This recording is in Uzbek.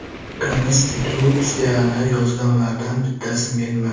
Konstitutsiyani yozganlardan bittasi menman.